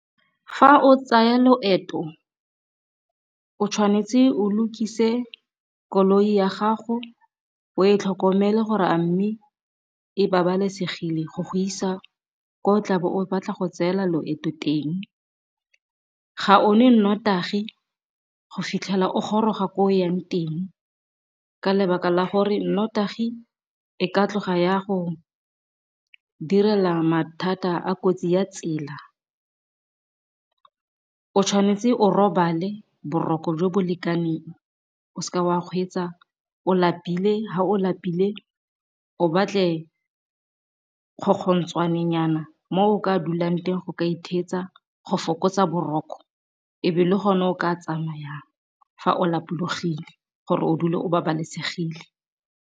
Fa o tsaya loeto o tshwanetse o lokise koloi ya gago o e tlhokomele gore a mme e babalesegile go go isa ko o tlabo o batla go tseela loeto teng, ga o nwe notagi go fitlhela o goroga ko o yang teng ka lebaka la gore nnotagi e ka tloga ya go direla mathata a kotsi ya tsela, o tshwanetse o robale boroko jo bo lekaneng o seka wa kgweetsa o lapile fa o lapile o batle mo o ka dulang teng go ka itheetsa go fokotsa boroko ebe le gone o ka tsamaya yang fa o lapologile gore o dule o babalesegile.